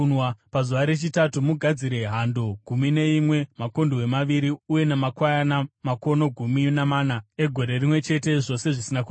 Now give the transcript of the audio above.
“ ‘Pazuva rechitatu, mugadzire hando gumi neimwe, makondobwe maviri uye namakwayana makono gumi namana egore rimwe chete, zvose zvisina kuremara.